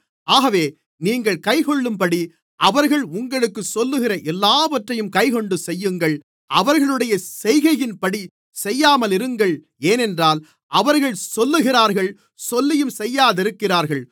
ஆகவே நீங்கள் கைக்கொள்ளும்படி அவர்கள் உங்களுக்குச் சொல்லுகிற எல்லாவற்றையும் கைக்கொண்டு செய்யுங்கள் அவர்களுடைய செய்கையின்படி செய்யாமலிருங்கள் ஏனென்றால் அவர்கள் சொல்லுகிறார்கள் சொல்லியும் செய்யாதிருக்கிறார்கள்